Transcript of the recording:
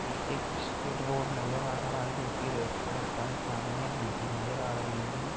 ये एक straight road नज़र आ रहा है जोकि रेड कलर का है। सामने एक डी पी नज़र आ रही है।